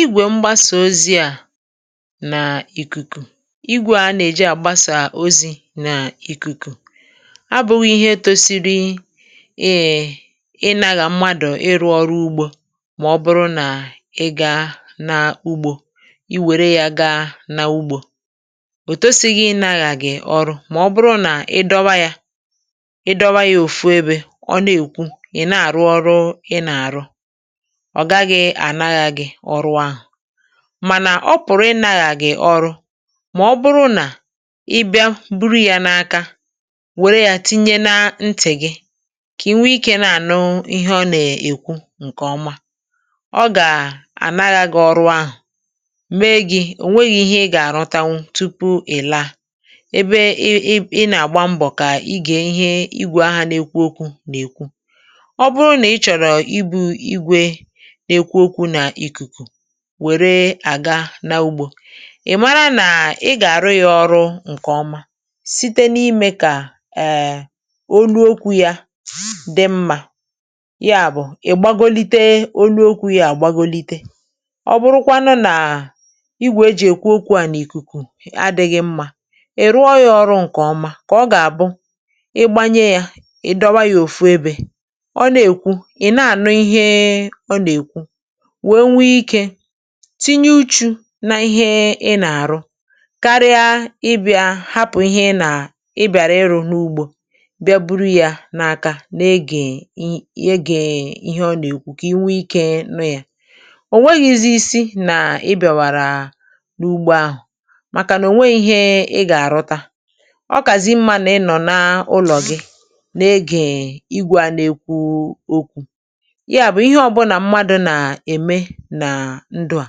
Ígwè mgbasà ozi à n’ìkùkù, ígwè a nà-eji à gbasà ozi̇ n’ìkùkù, abụ̇ghị̇ ihe tó sịrị enahà mmadụ̀ ịrụ̇ ọrụ́ ugbò mà ọ̀ bụrụ nà ị gà n’ugbò, ị wèrè yá gaa n’ugbò, ò sịrịghị̇ enahà gị̀ ọrụ um mà ọ̀ bụrụ nà ị dọ̀wa yá, ị dọ̀wa yá òfù ebe ọ̀ nà-èkwu, ị̀ nà-àrụ ọrụ́ ị nà-àrụ, ọ̀ gaghị̇ ànaghị̇ ọrụ́ ahụ̀ mànà ọ̀ pụ̀rụ̀ ịnàghà gị̀ ọrụ́, ma ọ̀ bụrụ nà ị bịa buru yá n’aka, wèrè yá tìnyè na ntì gị̇, kà ì nwè íké nà-ànụ ihe ọ̀ nà-èkwu, ǹkè ọma, ọ̀ gà-ànaghị̇ gị̇ ọrụ́ ahụ̀, mee gị̇ ehm ò nwēghị̇ ihe ị gà-àrọ̀tanwú tupu ì̀ la ebe ị nà-àgba mbọ̀, kà ị gà, ihe ígwè ahà n’èk̀wú okwu̇ nà-èkwu ọ̀ bụrụ nà ị chọ̀rọ̀ ịbụ̇ ígwè, wèrè àga na ugbò, ị̀ mara nà ị gà-àrụ yá ọrụ́ ǹkè ọma, site n’íme kà èè onyòkwú yá dị mmā, yá bụ̀ ị̀ gbàgòlité ònụ́ okwu̇ yá, àgbàgòlité, ọ̀ bụrụkwanụ nà ígwè e jì èkwu okwu̇ à nà ìkùkù à, adịghị̇ mmā ì rụọ yá ọrụ́ ǹkè ọma, kà ọ̀ gà-àbụ̀ ị gbànyé yá, ị̀ dọ̀wa yá òfù ebe ọ̀ nà-èkwu, ị̀ nà-ànụ ihe, tìnyè ụ́chù̇ nà ihe ị nà-àrụ, kárí̇ àbị̇à hapụ̀ ihe ị nà-abìàrà ịrụ̇ n’ugbò hmm bịa buru yá n’aka, nà-ègé ihe ọ̀ nà-èkwu, kà ì nwè íké nụ̀ yá, ò nwēghị̇ghizì isi nà ị bìàwàrà n’ugbò ahụ̀, màkà nà ò nwēghị̇ ìhè ị gà-àrụ̀ta, ọ̀kàzị mmā nà ị nọ̀ n’ùlọ̀ gị̇, n’égé ígwè nà-èkwu okwu̇ nà ndụ̀ à,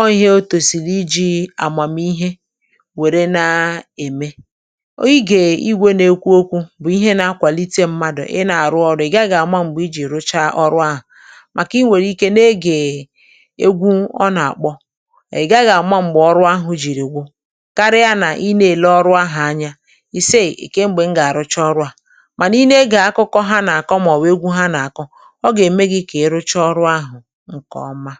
ọ̀ ihe o tòsịrị iji̇ àmàmihe, wèrè na-èmé, ọ̀ gà-àbụ̀ ígwè nà-èkwu okwu̇ bụ̀ ihe nà-akwàlite mmadụ̀ ị nà-àrụ ọrụ̇, ì̀ gaghị̇ àma mgbè ì jì rùchá ọrụ́ ahụ̀, màkà ì nwèrè íké nà-ègé egwú ọ̀ nà-àkpọ̄, ị̀ gaghị̇ àma mgbè ọrụ́ ahụ̀ jìrì gwụ, kárí̇ nà ị nà-èlé ọrụ́ ahụ̀ anya ìsìí íké, “M̀gbè m gà-àrụchá ọrụ̀ à?” mànà ị nà-ègé akụkọ ha nà-àkọ, màọ̀bụ̀ egwú ha nà-àkọ, ọ̀ gà-ème gị̇ kà ì rùchá ọrụ́ ahụ̀ ǹkè ọma.